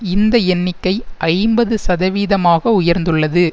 இந்த எண்ணிக்கை ஐம்பது சதவீதமாக உயர்ந்துள்ளது